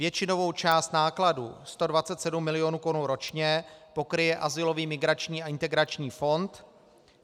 Většinovou část nákladů, 127 milionů korun ročně, pokryje Azylový migrační a integrační fond.